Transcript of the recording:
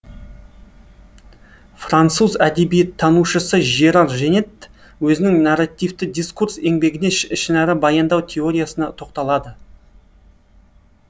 француз әдебиеттанушысы жеррар женетт өзінің нарративті дискурс еңбегінде ішінара баяндау тероиясына тоқталады